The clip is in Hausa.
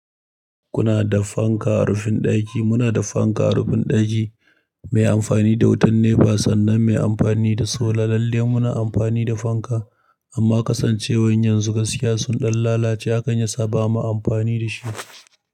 Kuna da fanka a rufin ɗaki, muna da fanka a rufin ɗaki mai amfani da wutan nefa sannan mai amfani da sola. Lalle muna amfani da fanka amma kasancewar yanzu gaskiya sun ɗan lalace, hakan ya sa ba mu amfani da shi.